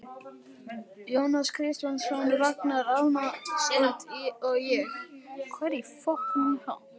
Jónas Kristjánsson, Ragnar Arnalds og ég.